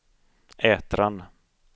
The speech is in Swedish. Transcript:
Ätran